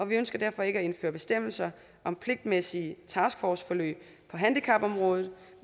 vi ønsker derfor ikke at indføre bestemmelser om pligtmæssige taskforceforløb på handicapområdet